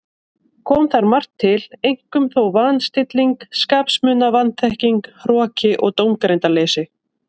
Kom þar margt til, einkum þó van- stilling skapsmuna, vanþekking, hroki og dómgreindarleysi.